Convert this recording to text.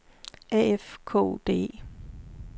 A F K O D E